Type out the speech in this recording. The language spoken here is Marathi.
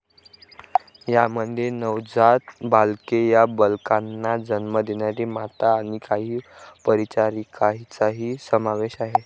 यामध्ये नवजात बालके, या बालकांना जन्म देणाऱ्या माता आणि काही परिचारिकांचाही समावेश आहे.